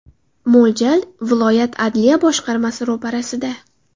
Mo‘ljal – viloyat adliya boshqarmasi ro‘parasida.